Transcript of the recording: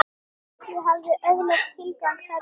Ég hafði öðlast tilgang þarna.